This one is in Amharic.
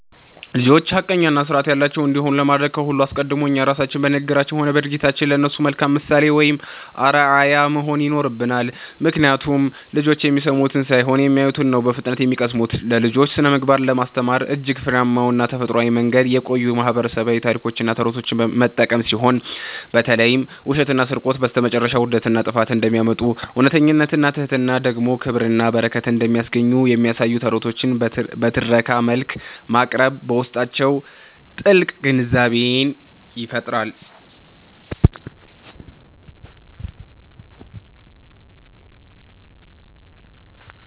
ልጆች ሐቀኛና ሥርዓት ያላቸው እንዲሆኑ ለማድረግ ከሁሉ አስቀድሞ እኛ ራሳችን በንግግራችንም ሆነ በድርጊታችን ለእነሱ መልካም ምሳሌ ወይም አርአያ መሆን ይኖርብናል፤ ምክንያቱም ልጆች የሚሰሙትን ሳይሆን የሚያዩትን ነው በፍጥነት የሚቀስሙት። ለልጆች ስነ-ምግባርን ለማስተማር እጅግ ፍሬያማና ተፈጥሯዊው መንገድ የቆዩ ማህበረሰባዊ ታሪኮችንና ተረቶችን መጠቀም ሲሆን፣ በተለይም ውሸትና ስርቆት በስተመጨረሻ ውርደትንና ጥፋትን እንደሚያመጡ፣ እውነተኝነትና ትሕትና ደግሞ ክብርንና በረከትን እንደሚያስገኙ የሚያሳዩ ተረቶችን በትረካ መልክ ማቅረብ በውስጣቸው ጥልቅ ግንዛቤን ይፈጥራል።